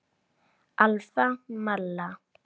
Alfa Malla.